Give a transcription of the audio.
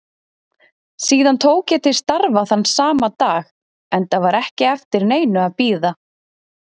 Síðan tók ég til starfa þann sama dag enda var ekki eftir neinu að bíða.